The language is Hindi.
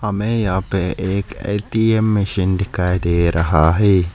हमें यहां पे एक ए_टी_एम मशीन दिखाई दे रहा है।